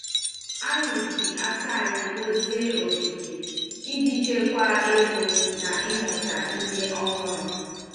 Anyị ji aka anyị dozie ogige iji chekwa ego na ịmụta ihe ọhụrụ.